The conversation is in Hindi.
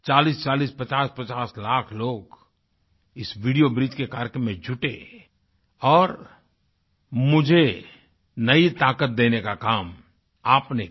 4040 5050लाख लोग इस वीडियो ब्रिज के कार्यक्रम में जुड़े और मुझे नई ताक़त देने का काम आपने किया